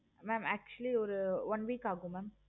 mam actually ஒரு one week ஆகும் mam